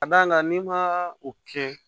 Ka d'a kan n'i ma o kɛ